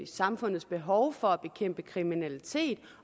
samfundets behov for at bekæmpe kriminalitet